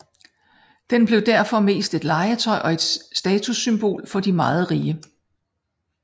Den blev derfor mest et legetøj og et statussymbol for de meget rige